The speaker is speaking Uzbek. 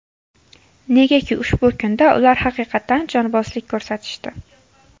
Negaki ushbu kunda ular haqiqatan jonbozlik ko‘rsatishdi.